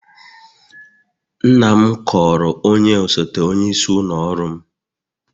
Nna m kọọrọ onye osote onyeisi ụlọ ọrụ m